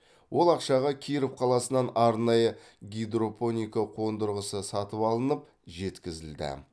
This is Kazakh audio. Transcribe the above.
ол ақшаға киров қаласынан арнайы гидропоника қондырғысы сатып алынып жеткізілді